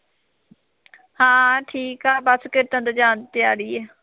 ਹਾਂ ਠੀਕ ਹੈ ਬਸ ਖੇਤਾਂ ਤੋਂ ਜਾਣ ਦੀ ਤਿਆਰੀ ਹੈ